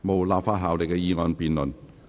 無立法效力的議案辯論。